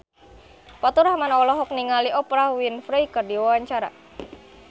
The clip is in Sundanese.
Faturrahman olohok ningali Oprah Winfrey keur diwawancara